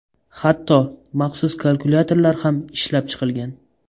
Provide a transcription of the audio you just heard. Hatto maxsus kalkulyator lar ham ishlab chiqilgan.